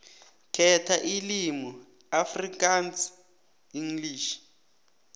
khetha ilimi afrikaansenglish